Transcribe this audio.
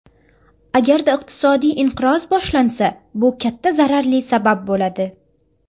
Agarda iqtisodiy inqiroz boshlansa, bu katta zararli sabab bo‘ladi.